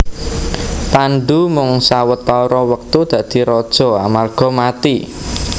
Pandhu mung sawetara wektu dadi raja amarga mati